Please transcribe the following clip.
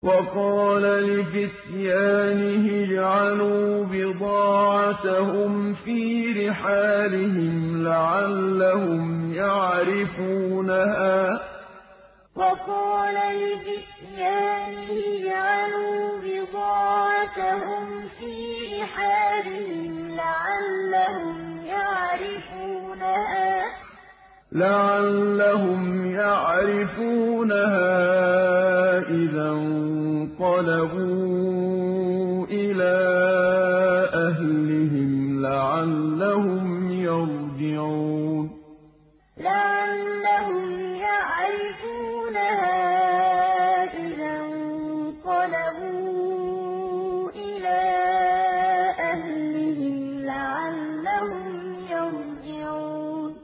وَقَالَ لِفِتْيَانِهِ اجْعَلُوا بِضَاعَتَهُمْ فِي رِحَالِهِمْ لَعَلَّهُمْ يَعْرِفُونَهَا إِذَا انقَلَبُوا إِلَىٰ أَهْلِهِمْ لَعَلَّهُمْ يَرْجِعُونَ وَقَالَ لِفِتْيَانِهِ اجْعَلُوا بِضَاعَتَهُمْ فِي رِحَالِهِمْ لَعَلَّهُمْ يَعْرِفُونَهَا إِذَا انقَلَبُوا إِلَىٰ أَهْلِهِمْ لَعَلَّهُمْ يَرْجِعُونَ